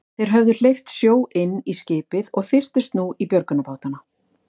Þeir höfðu hleypt sjó inn í skipið og þyrptust nú í björgunarbátana.